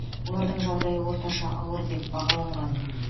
олардың жағдайы орташа ауыр деп бағаланған